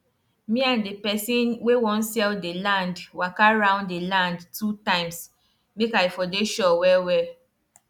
we dey we dey check when market go full then we arrange our own work so food go reach there sharp.